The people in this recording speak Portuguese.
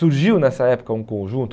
Surgiu nessa época um conjunto.